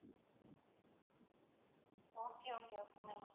okay okay okay ma'am